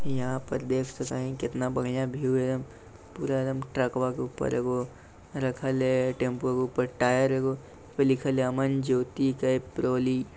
यहाँ पर देख सकते है कितना बढ़िया व्यू है पूरा एकदम ट्रकवा के ऊपर एगो रखल है टेंपूवा के ऊपर टायर एगो उस पर लिखल है अमन ज्योति केप रोली।